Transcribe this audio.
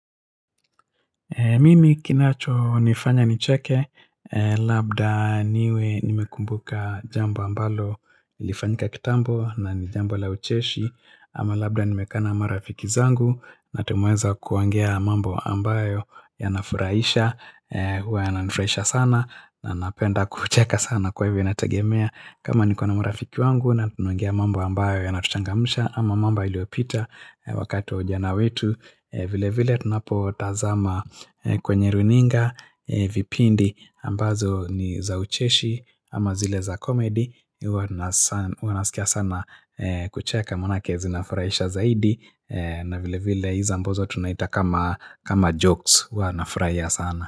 Mimi kinacho nifanya nicheke, labda niwe nimekumbuka jambo ambalo ilifanyika kitambo na ni jambo la ucheshi, ama labda nimekaa na marafiki zangu, na tumeweza kuongea mambo ambayo yana furahisha, huwa yana nifurahisha sana, na napenda kucheka sana kwa hivyo inategemea. Kama niko na marafiki wangu na tunaongea mambo ambayo yana tuchangamsha ama mambo iliopita wakati wa ujana wetu vile vile tunapo tazama kwenye runinga vipindi ambazo ni za ucheshi ama zile za komedi huwa nasikia sana kucheka manake zina furahisha zaidi na vile vile hizo ambazo tunaita kama jokes huwa na furahia sana.